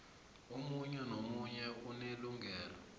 omunye nomunye unelungelo